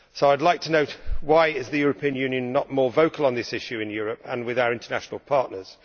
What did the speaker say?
I would like to know why the European Union is not more vocal on this issue both in Europe and with our international partners.